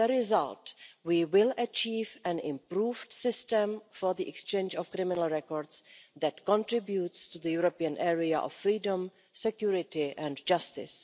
As a result, we will achieve an improved system for the exchange of criminal records that contributes to the European area of freedom, security and justice.